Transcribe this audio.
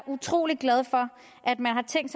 utrolig glad for at man har tænkt